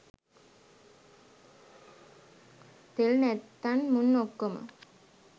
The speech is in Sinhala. තෙල් නැත්තන් මුන් ඔක්කොම